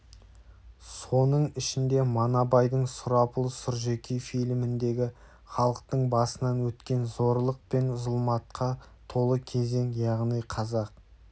соның ішінде манабайдың сұрапыл сұржекей фильміндегі халықтың басынан өткен зорлық пен зұлматқа толы кезең яғни қазақ